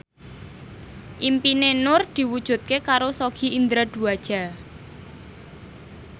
impine Nur diwujudke karo Sogi Indra Duaja